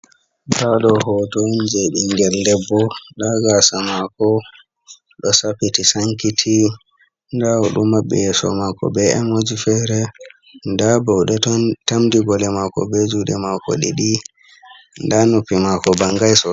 Ado hotom je dingel lebbo dagasa mako do sapiti sankiti dawo du mabbiyesho mako be emoj fere da baude ton tamdi bole mako be jude mako didi da nupi mako bangai do.